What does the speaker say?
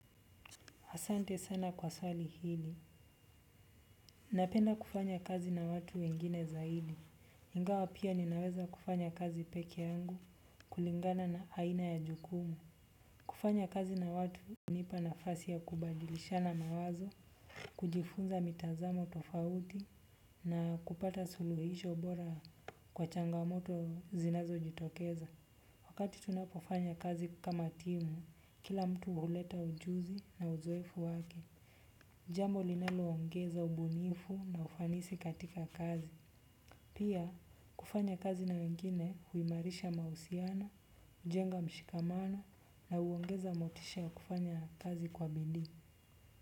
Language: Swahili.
Asante sana kwa swali hili. Napenda kufanya kazi na watu wengine zaidi. Ingawa pia ninaweza kufanya kazi pekee yangu kulingana na aina ya jukumu. Kufanya kazi na watu hunipa nafasi ya kubadilishana mawazo, kujifunza mitazamo tofauti na kupata suluhisho bora kwa changamoto zinazojitokeza. Wakati tunapofanya kazi kama timu, kila mtu huleta ujuzi na uzoefu wake. Jambo linaloongeza ubunifu na ufanisi katika kazi. Pia kufanya kazi na wengine huimarisha mawasialiano, hujenga mshikamano, na huongeza motisha ya kufanya kazi kwa bidii.